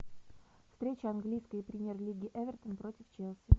встреча английской премьер лиги эвертон против челси